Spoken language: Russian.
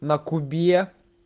на кубе